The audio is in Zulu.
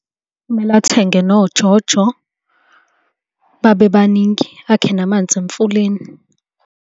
Kumele athenge noJoJo babe baningi, akhe namanzi emfuleni.